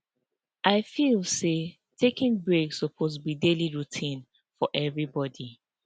i feel say taking breaks suppose be daily routine for everybody